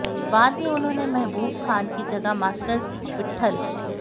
बाद में उन्होंने महबूब खान की जगह मास्टर विट्ठल